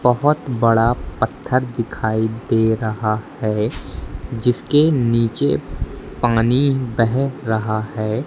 बहुत बड़ा पत्थर दिखाई दे रहा है जिसके नीचे पानी बह रहा है।